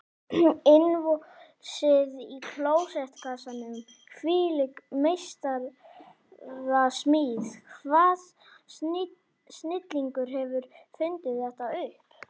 Innvolsið í klósettkassanum, hvílík meistarasmíð, hvaða snillingur hefur fundið þetta upp?